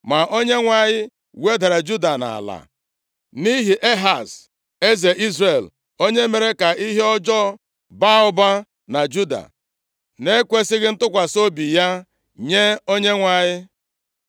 Ma Onyenwe anyị wedara Juda nʼala nʼihi Ehaz, eze Izrel onye mere ka ihe ọjọọ baa ụba na Juda, na-ekwesighị ntụkwasị obi ya nye Onyenwe anyị.